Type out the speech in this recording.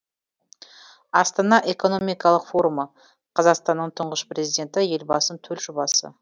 астана экономикалық форумы қазақстанның тұңғыш президенті елбасының төл жобасы